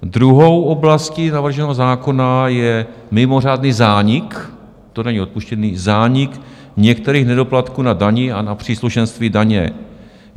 Druhou oblastí navrženého zákona je mimořádný zánik - to není odpuštění - zánik některých nedoplatků na dani a na příslušenství daně.